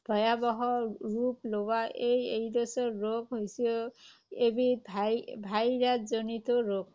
ভয়াৱহ ৰূপ লোৱা এই এইড্‌ছ ৰোগ হৈছে এবিধ ভাই virus জনিত ৰোগ।